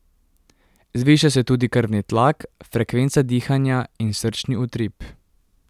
Zviša se tudi krvni tlak, frekvenca dihanja in srčni utrip.